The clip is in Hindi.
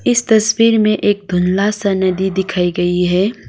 इस तस्वीर में एक धुंधला सा नदी दिखाई गई है।